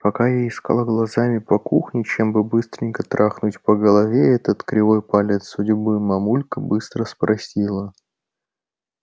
пока я искала глазами по кухне чем бы быстренько трахнуть по голове этот кривой палец судьбы мамулька быстро спросила